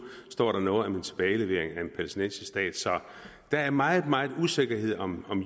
står der noget om en tilbagelevering af en palæstinensisk stat så der er meget meget usikkerhed om